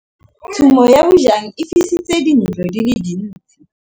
Tshumô ya bojang e fisitse dintlo di le dintsi.